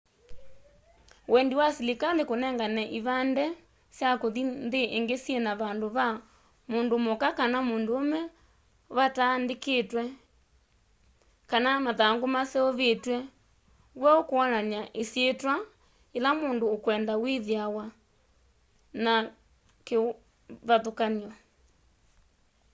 wendi wa selikali kunengane ivande sya kuthi nthi ingi syina vandu va mundu muka kana munduume vataandikitwe x kana mathangu maseuvitw'e weu kwonany'a isyitwa yila mundu ukwenda withiawa na kivathukany'o